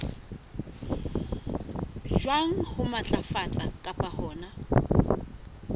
jwang ho matlafatsa kapa hona